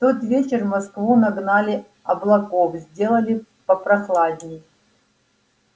в тот вечер в москву нагнали облаков сделали попрохладней